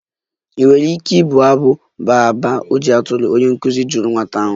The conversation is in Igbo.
Ị nwere ike na-abụ abụ baa baa ojii atụrụ?, onye nkụzi jụrụ nwata ahụ.